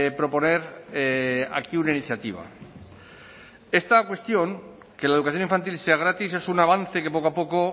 proponer aquí una iniciativa esta cuestión que la educación infantil sea gratis es un avance que poco a poco